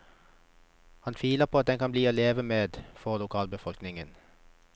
Han tviler på at den kan bli til å leve med for lokalbefolkningen.